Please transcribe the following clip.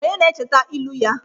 Onye na-echeta ilu ya?